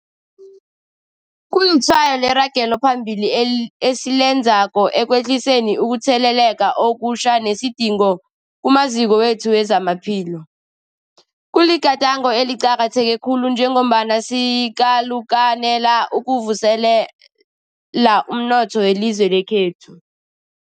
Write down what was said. Kulitshwayo leragelo phambili esilenzako ekwehliseni ukutheleleka okutjha nesidingo kumaziko wethu wezamaphilo. Kuligadango eliqakatheke khulu njengombana sikalukanela ukuvuselela umnotho welizwe lekhethu.